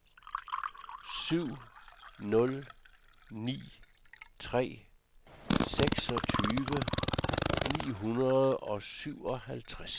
syv nul ni tre seksogtyve ni hundrede og syvoghalvfjerds